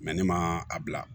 ne ma a bila